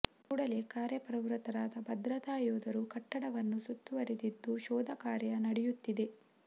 ಕೂಡಲೇ ಕಾರ್ಯಪ್ರವೃತ್ತರಾದ ಭದ್ರತಾ ಯೋಧರು ಕಟ್ಟಡವನ್ನು ಸುತ್ತುವರಿದಿದ್ದು ಶೋಧ ಕಾರ್ಯ ನಡೆಯುತ್ತಿದೆ